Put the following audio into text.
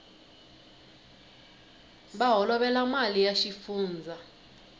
va holovela mali ya xifundzha